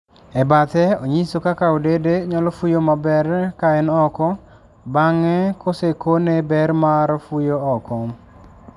E bathe Onyiso kaka odede nyalo fuyo maber ka en oko, bange kosekine ber mar fuyo oko